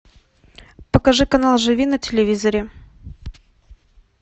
покажи канал живи на телевизоре